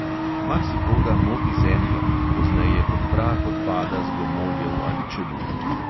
Marsikoga moti zemlja, ki pozneje kot prah odpada z gomoljev ali čebul.